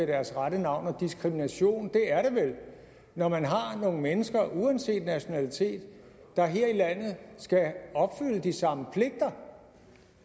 deres rette navn og diskrimination er det vel når der er nogle mennesker der uanset nationalitet her i landet skal opfylde de samme pligter